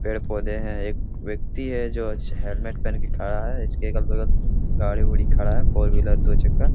पेड़-पौधे हैं एक व्यक्ति है जो च हेलमेट पहनकर खड़ा है इसके अगल बगल गाड़ी उड़ी खड़ा है | फोर व्हीलर दू चक्का ।